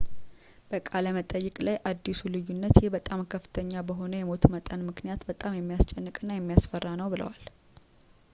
በቃለ መጠይቅ ላይ አዲሱ ልዩነት ይህ በጣም ከፍተኛ በሆነ የሞት መጠን ምክንያት በጣም የሚያስጨንቅ እና የሚያስፈራ ነው ብለዋል